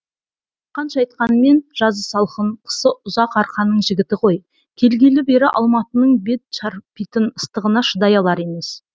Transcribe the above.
қанша айтқанмен жазы салқын қысы ұзақ арқаның жігіті ғой келгелі бері алматының бет шарпитын ыстығына шыдай алар емес